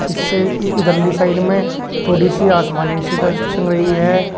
इस से इ इधरली साइड में थोड़ी सी आसमानी सी ड्रेस संग रही है।